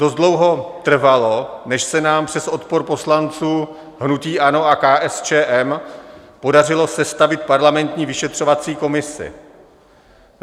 Dost dlouho trvalo, než se nám přes odpor poslanců hnutí ANO a KSČM podařilo sestavit parlamentní vyšetřovací komisi.